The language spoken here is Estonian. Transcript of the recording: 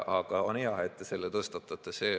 Aga on hea, et te selle tõstatate.